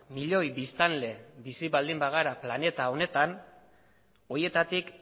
milioi biztanle bizi baldin bagara planeta honetan horietatik